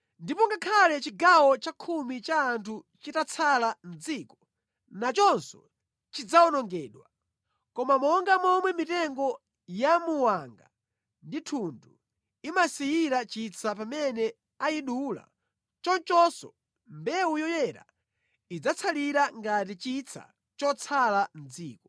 Ndipo ngakhale chigawo chakhumi cha anthu chitatsala mʼdziko, nachonso chidzawonongedwa. Koma monga momwe mitengo ya muwanga ndi thundu imasiyira chitsa pamene ayidula, chonchonso mbewu yoyera idzatsalira ngati chitsa chotsala mʼdziko.”